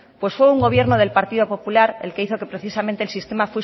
pues fue el gobierno del partido popular el que hizo que precisamente el sistema